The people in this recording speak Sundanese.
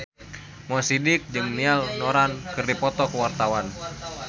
Mo Sidik jeung Niall Horran keur dipoto ku wartawan